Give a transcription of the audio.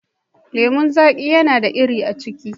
lemun zaƙi yana da iri a ciki.